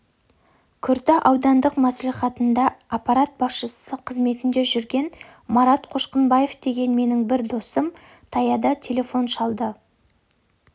күрті аудандық мәслихатында аппарат басшысы қызметінде жүрген марат қошқынбаев деген менің бір досым таяда телефон шалды